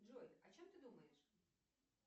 джой о чем ты думаешь